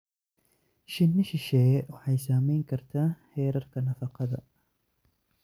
Shinni shisheeye waxay saameyn kartaa heerarka nafaqada.